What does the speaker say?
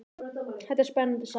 Þetta er spennandi saga.